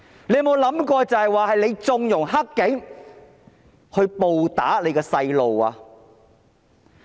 你有沒有想過是你縱容"黑警"暴打你的孩子？